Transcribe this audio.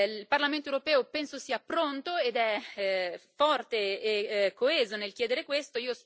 Il Parlamento europeo penso sia pronto, ed è forte e coeso nel chiedere questo.